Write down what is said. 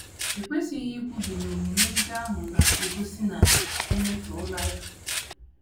E kwesịghị ikwubi na omume ndị ahụ na - egosi na e metọọla ya.